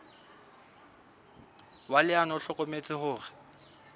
wa leano o hlokometse hore